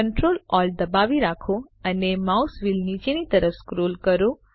Ctrl Alt દબાવી રાખો અને માઉસ વ્હીલ નીચેની તરફ સ્ક્રોલ કરો